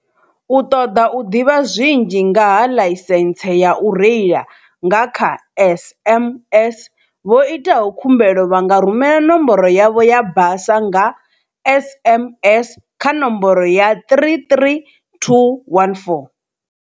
U ṱoḓa u ḓivha zwinzhi ngaha ḽaisentse ya u reila nga kha SMS, vho itaho khumbelo vha nga rumela nomboro yavho ya basa nga SMS kha nomboro ya 33214.